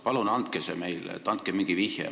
Palun andke see meile, andke mingi vihje.